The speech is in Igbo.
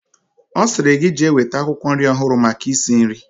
Osiri gi jee weta akwukwo nri ohuru maka isi nri